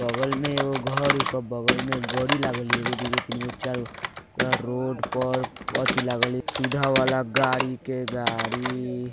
बगल में एगो घर ओके बगल में गाड़ी लागल या एगो दूगो तीन गो चार गो रोड पर अथी लागल या सुधा वला गाड़ी के गाड़ी।